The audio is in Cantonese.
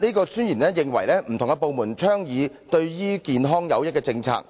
該宣言認為不同的部門倡議對於健康有益的政策，